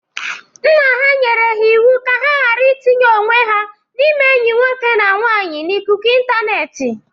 Nna ha nyere ha iwu ka ha gara itinye onwe ha n'ime enyi nwoke na nwaanyị n'ikuku ịntanetị.